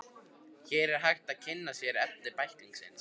Hér er hægt að kynna sér efni bæklingsins.